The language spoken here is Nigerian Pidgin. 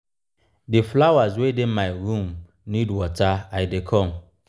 the flowers wey dey my room need water i dey come.